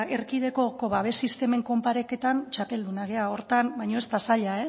erkidegoko babes sistemen konparaketan txapeldunak gara horretan baina ez da zaila